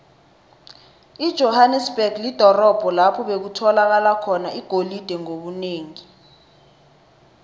ijohanesberg lidorobho lapho bekutholakala khona igolide ngobunengi